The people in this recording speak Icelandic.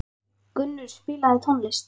Gunnur, spilaðu tónlist.